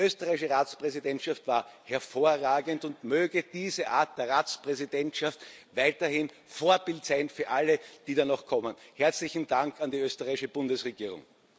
Die österreichische Ratspräsidentschaft war hervorragend, und möge diese Art der Ratspräsidentschaft weiterhin Vorbild sein für alle, die da noch kommen. Herzlichen Dank an die österreichische Bundesregierung!